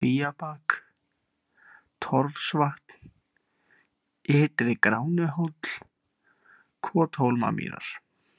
Kvíabak, Torfsvatn, Ytri-Gránuhóll, Kothólamýrar